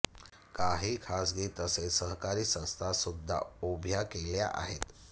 काही खासगी तसेच सहकारी संस्था सुद्धा उभ्या केल्या आहेत